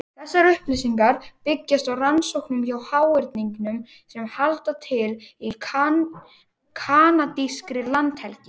Þessar upplýsingar byggjast á rannsóknum á háhyrningum sem halda til í kanadískri landhelgi.